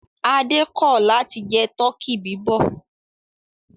Adé kọ̀ láti jẹ tọkí bíbọ̀.